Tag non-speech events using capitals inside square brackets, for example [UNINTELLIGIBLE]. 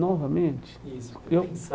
Novamente? Isso [UNINTELLIGIBLE] Eu